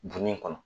Dunni kɔnɔ